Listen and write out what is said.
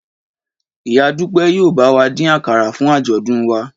Ìyá Dúpẹ́ yóò bá wa dín àkàrà fún àjọ̀dún wa